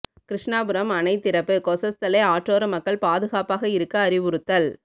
கிருஷ்ணாபுரம் அணை திறப்பு கொசஸ்தலை ஆற்றோர மக்கள் பாதுகாப்பாக இருக்க அறிவுறுத்தல்